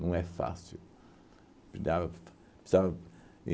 Não é fácil. Que dava precisava